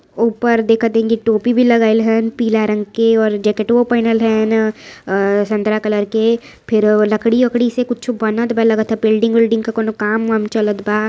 ऊपर देखत हईं कि टोपी भी लगायीं हं पीला रंग के और जैकेटवों पहैनल हं संतरा कलर के| फिर लकड़ी उकड़ी से कुछो बनतबा लगत ह बिल्डिंग उलडिंग के कोनो काम वाम चलत बा।